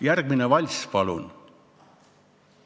Järgmine valss, palun!